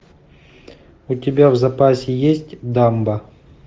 у тебя в запасе есть дамба